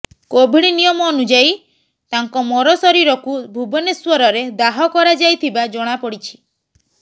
Covid ନିୟମ ଅନୁଯାଇ ତାଙ୍କ ମର ଶରୀରକୁ ଭୁବନେଶ୍ୱରରେ ଦାହ କରାଯାଇଥିବା ଜଣାପଡିଛି